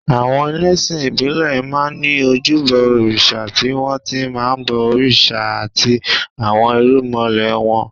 Àwọn ẹlẹ́sìn ìbílẹ̀ máa ń ní ojúbọ òrìṣà tí wọ́n ti máa ń bọ òrìṣà àti àwọn irúnmọlẹ̀ wọn